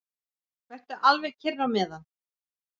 Vertu alveg kyrr á meðan.